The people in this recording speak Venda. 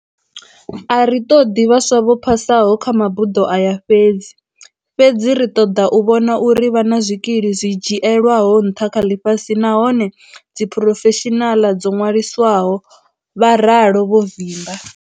A ri ṱoḓi vhaswa vho phasaho kha mabuḓo aya fhedzi, fhedzi ri ṱoḓa u vhona uri vha na zwikili zwi dzhielwaho nṱha kha ḽifhasi nahone ndi dziphurofeshinaḽa dzo ṅwaliswaho, Vha ralo vho Vimba.